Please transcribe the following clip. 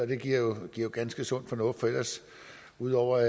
det giver jo ganske sund fornuft for ud over